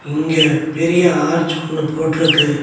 இங்க பெரிய ஆர்ச் ஒன்னு போட்ருக்கு.